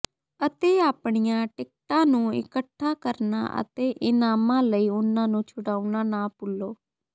ਅਤੇ ਆਪਣੀਆਂ ਟਿਕਟਾਂ ਨੂੰ ਇਕੱਠਾ ਕਰਨਾ ਅਤੇ ਇਨਾਮਾਂ ਲਈ ਉਨ੍ਹਾਂ ਨੂੰ ਛੁਡਾਉਣਾ ਨਾ ਭੁੱਲੋ